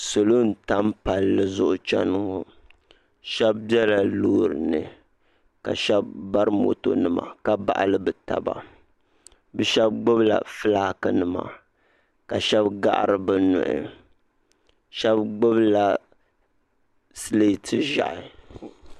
salo n tam palli zuɣu chɛni ŋɔ shab biɛla loori ni ka shab bari moto nima ka baɣali bi taba bi shab gbubila fulaaki nima ka shab gahari bi nuhi shab gbubila sileeti ʒiɛhi